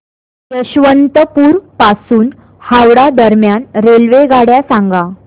यशवंतपुर पासून हावडा दरम्यान रेल्वेगाड्या सांगा